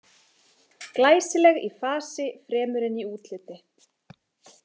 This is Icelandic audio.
Glæsileg í fasi fremur en í útliti.